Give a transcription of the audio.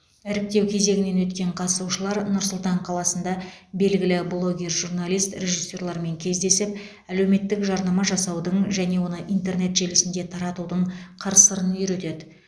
іріктеу кезеңінен өткен қатысушылар нұр сұлтан қаласында белгілі блогер журналист режиссерлармен кездесіп әлеуметтік жарнама жасаудың және оны интернет желісінде таратудың қыр сырын үйретеді